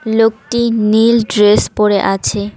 লোকটি নীল ড্রেস পড়ে আছে।